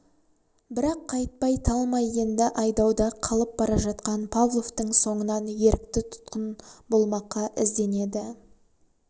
бірақ қайтпай талмай енді айдауда қалып бара жатқан павловтың соңынан ерікті тұтқын болмаққа ізденеді